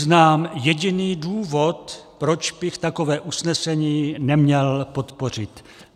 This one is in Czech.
Neznám jediný důvod, proč bych takové usnesení neměl podpořit.